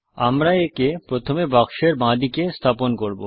আমরা একে প্রথম বাক্সের বাঁদিকে স্থাপন করব